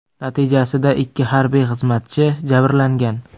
Natijasida ikki harbiy xizmatchi jabrlangan.